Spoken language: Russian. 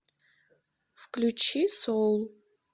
включи соул